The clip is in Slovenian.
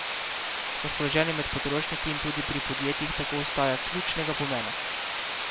Razpoloženje med potrošniki in tudi pri podjetjih tako ostaja ključnega pomena.